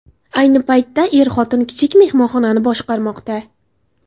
Ayni paytda er-xotin kichik mehmonxonani boshqarmoqda.